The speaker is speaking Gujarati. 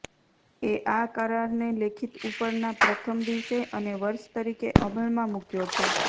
એ આ કરારને લેખિત ઉપરના પ્રથમ દિવસે અને વર્ષ તરીકે અમલમાં મૂક્યો છે